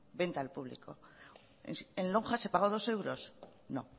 venta al público en lonja se pagó dos euros no